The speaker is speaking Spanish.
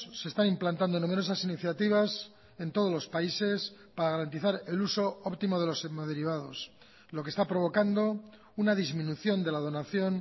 se están implantando numerosas iniciativas en todos los países para garantizar el uso óptimo de los hemoderivados lo que está provocando una disminución de la donación